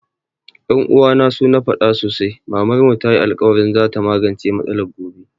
Ƴan uwana su na faɗa sosai Mamar mu tayi alkawarin za ta magance matsalar gobe